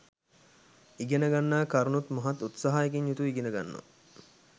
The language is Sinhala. ඉගෙන ගන්නා කරුණුත් මහත් උත්සාහයකින් යුතුව ඉගෙන ගන්නවා